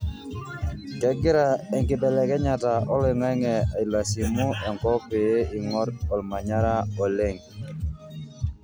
kengira enkibelekenyata oloingange ailasimu enkop ppe ingorr olmanyara oleng.